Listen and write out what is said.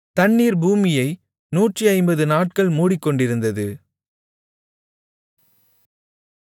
தண்ணீர் பூமியை 150 நாட்கள் மூடிக்கொண்டிருந்தது